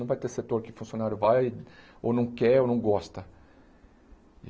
Não vai ter setor que o funcionário vai ou não quer ou não gosta.